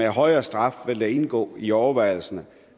højere straf vil det indgå i overvejelserne